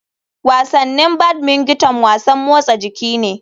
Wasannin badmington wasan motsa jiki ne.